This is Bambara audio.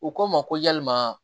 U ko n ma ko yalima